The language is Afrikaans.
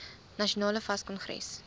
nasionale fas kongres